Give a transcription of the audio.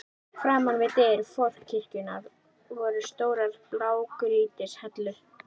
Framan við dyr forkirkjunnar voru stórar blágrýtishellur.